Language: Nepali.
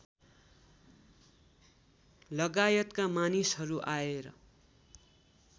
लगायतका मानिसहरू आएर